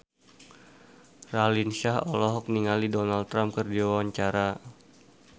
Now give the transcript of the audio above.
Raline Shah olohok ningali Donald Trump keur diwawancara